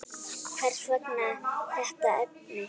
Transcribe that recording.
Hvers vegna þetta efni?